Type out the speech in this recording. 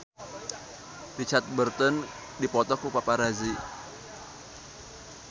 Richard Burton dipoto ku paparazi